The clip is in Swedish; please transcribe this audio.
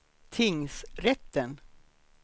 tingsrätten